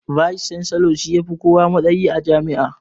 "Vice chancellor" shi ya fi kowa matsayi a jami'a